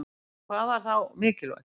En hvað var þá mikilvægt?